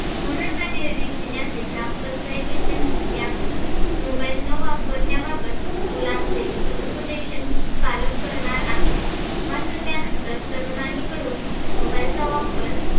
म्हणून हा निर्णय घेव्याचे ग्रामपंचायतीचे म्हणने आहे. mobile न वापरण्याबाबद मुलांचे समोपदेशन पालक करणार आहेत. मात्र त्यानंतर तरूनाई कडून mobile चा वापर